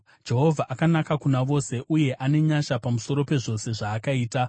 Jehovha akanaka kuna vose; uye ane nyasha pamusoro pezvose zvaakaita.